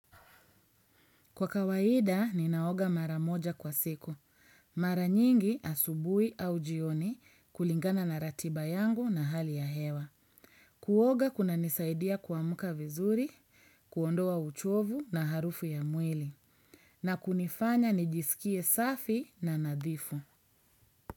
Kwa kawaida, ninaoga mara moja kwa siku. Mara nyingi asubui au jioni kulingana na ratiba yangu na hali ya hewa. Kuoga kuna nisaidia kwamuka vizuri, kuondoa uchovu na harufu ya mwili. Na kunifanya nijisikie safi na nadhifu.